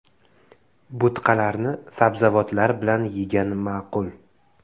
Bo‘tqalarni sabzavotlar bilan yegan ma’qul.